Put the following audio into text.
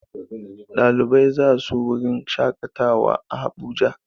Ɗalibai za su wurin shaƙatawa a Abuja.